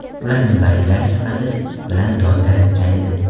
Ularning bolidlari sifati bilan dong taratgan edi.